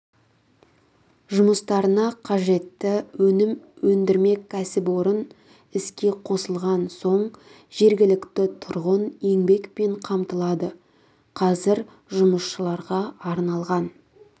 жұмыстарына қажетті өнім өндірмек кәсіпорын іске қосылған соң жергілікті тұрғын еңбекпен қамтылады қазір жұмысшыларға арналған